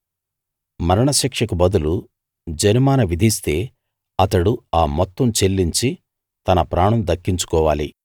మరణశిక్షకు బదులు జరిమానా విధిస్తే అతడు ఆ మొత్తం చెల్లించి తన ప్రాణం దక్కించుకోవాలి